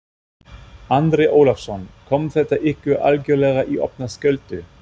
Andri Ólafsson: Kom þetta ykkur algjörlega í opna skjöldu?